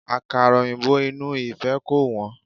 Àkàrà òyìnbó inú ìfẹ́ kò wọ́n.